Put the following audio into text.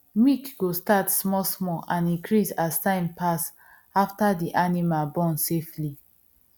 milk go start small small and increase as time pass after the animal born safely